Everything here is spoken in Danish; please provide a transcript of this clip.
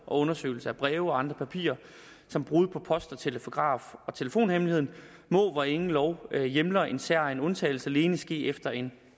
og undersøgelse af breve og andre papirer samt brud på post telegraf og telefonhemmeligheden må hvor ingen lov hjemler en særegen undtagelse alene ske efter en